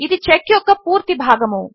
ఇది చెక్ యొక్క పూర్తి భాగము